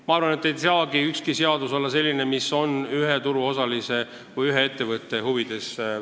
Samas ei saa ükski seadus olla selline, et see väljendab ühe turuosalise, ühe ettevõtte huve.